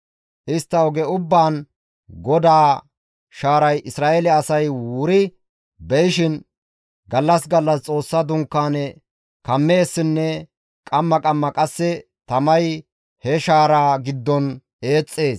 Istta oge ubbaan GODAA shaaray Isra7eele asay wuri be7ishin, gallas gallas Xoossa Dunkaane kammeessinne qamma qamma qasse tamay he shaaraa giddon eexxees.